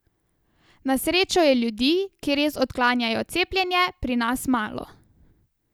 Na srečo je ljudi, ki res odklanjajo cepljenje, pri nas malo.